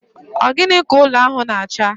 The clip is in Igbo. Ogini ka ụlọ ahụ na acha?